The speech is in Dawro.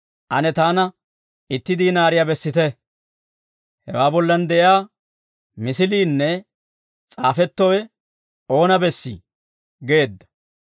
«Ane taana itti diinaariyaa bessite; hewaa bollan de'iyaa misiliinne s'aafettowe oona bessii?» geedda.